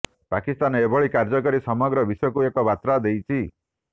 ପାକିସ୍ତାନ ଏଭଳି କାର୍ଯ୍ୟକରି ସମଗ୍ର ବିଶ୍ୱକୁ ଏକ ବାର୍ତ୍ତା ଦେଇଛି